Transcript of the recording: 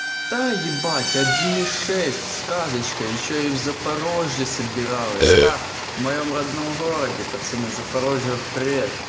да ебать один и шесть сказочка ещё и в запорожье собиралась та в моём родном городе пацаны запорожью привет